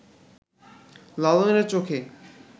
লালনের চোখে